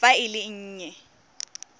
fa e le e nnye